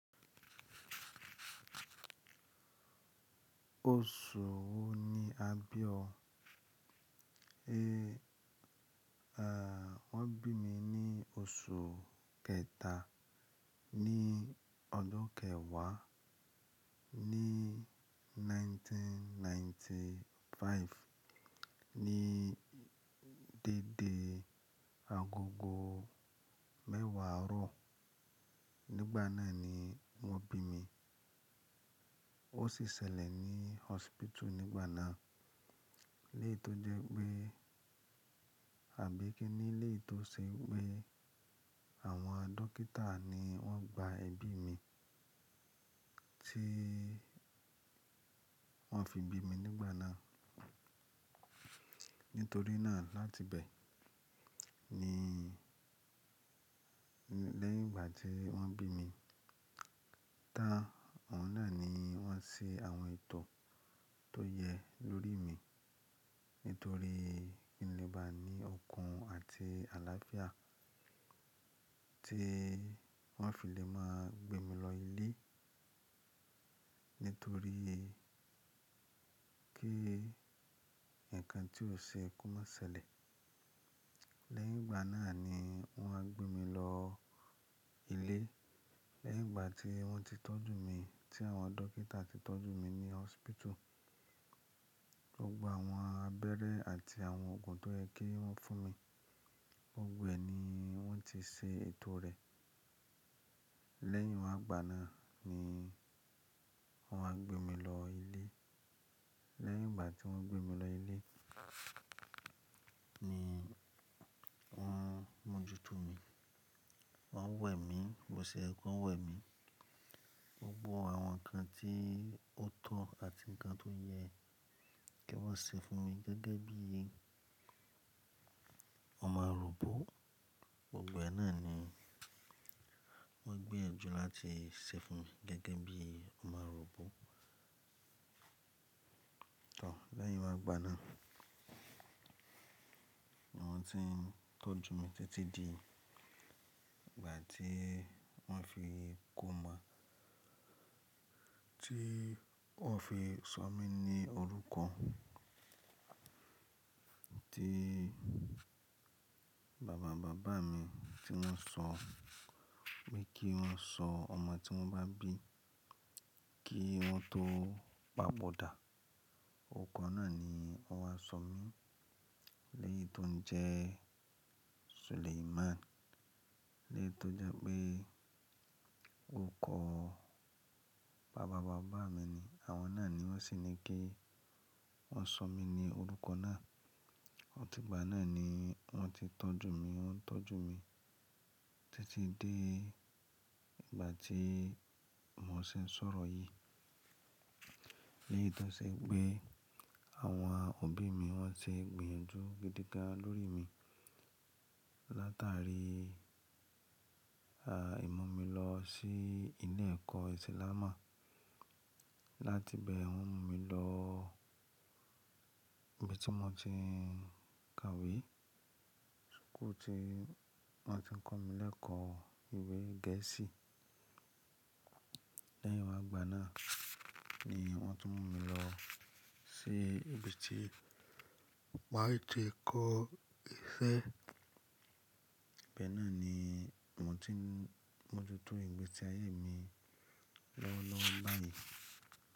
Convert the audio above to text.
Oṣù wo ni a bí ọ? E, à, wọ́n bí mi ní oṣù kẹta ní ọdún kẹwàá ní ẹgbẹ̀rún kan ó lé ọgọ́rùn-ún mẹ́sàn-án ó lé àrúndínlọ́gọ́rùn-ún. Ní dédé agogo mẹ́wàá àárọ̀. Nígbà náà ni wọ́n bí mi. Ó sì ṣẹlẹ̀ ní hospital nígbà náà. Lé tó jẹ́ pé àbí kí nílé tó ṣe wípé àwọn dókítà ni wọ́n gba ẹbí mi tí wọ́n fi bí mi nígbà náà. Nítorí náà láti bẹ ní lẹ́yìn ìgbà tí wọ́n bí mi tá, òun náà ni wọ́n ṣe àwọn ètò tó yẹ lórí mi. Nítorí kí n lè bá ní okun àti àlàáfíà tí wọ́n á fi lè máa gbé mi lọ ilé. Nítorí kí ǹkan tí ó ṣe ikú má ṣẹlẹ̀. Lẹ́yìn ìgbà náà ni wọ́n á gbé mi lọ ilé. Lẹ́yìn ìgbà tí wọ́n ti tọ́jú mi, tí àwọn dókítà ti tọ́jú mi ní hospital. Gbogbo àwọn abẹ́rẹ́ àti àwọn òògùn tó yẹ kí wọ́n fún mi, gbogbo ẹ ni wọ́n ti ṣe ètò rẹ̀. Lẹ́yìn ìwàgbà náà ni wọ́n á gbé mi lọ ilé. Lẹ́yìn ìgbà tí wọ́n gbé mi lọ ilé ni wọ́n mójútó mi. Wọ́n wẹ̀ mí, wọ́n ṣe ẹkún wẹ̀ mi. Gbogbo àwọn ǹkan tí ó tọ́ àti ǹkan tó yẹ kí wọ́n ṣe fún mi gẹ́gẹ́ bí ọmọ arúgbó. Òògbà náà ni wọ́n gbiyanju láti ṣe fún mi gẹ́gẹ́ bí ọmọ arúgbó. Òò, lẹ́yìn ìwàgbà náà, àwọn tí tọ́jú mi tẹ́tí di ìgbà tí wọ́n fi kó máa, tí wọ́n fi sọ mí ní orúkọ tí bàbá bàbá mi tí wọ́n sọ, pé kí wọ́n sọ ọmọ tí wọ́n bá bí kí wọ́n tó pàbọ̀ dà. Orúkọ náà ni wọ́n wá sọ mí. Léyìí tó ń jẹ́ Suleiman. Léyìí tó jẹ́ pé orúkọ bàbá bàbá mi ni. Àwọn náà ni wọ́n sì ní kí wọ́n sọ mí ní orúkọ náà. Ọ̀tígbà náà ni wọ́n ti tọ́jú mi, wọ́n tọ́jú mi tẹ́tí dé ìgbà tí mò ṣe ń sọ̀rọ̀ yìí. Léyìí tó ṣe pé àwọn òbí mi wọ́n ti gbìyànjú gidi gan lórí mi. Látàrí, à, ì mú mi lọ sí ilé ẹ̀kọ́ Ìsìlámù. Láti bẹ wọ́n mú mi lọ ibi tí mò ti ń kàwé. Ku ti wọ́n ti ń kọ́ mi lẹ́ẹ̀kọ́ ìwé Gẹ̀ẹ́sì. Lẹ́yìn ìwàgbà náà ni wọ́n tún mú mi lọ sí ibi tí màá ti kọ́ iṣẹ́. Ibẹ̀ náà ni mò ti ń mójútó ìgbésí ayé mi lowolowo bayi.